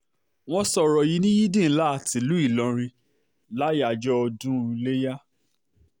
wọ́n sọ̀rọ̀ yìí ní yídì um ńlá tìlùú ìlọrin láyàájọ́ ọdún um iléyà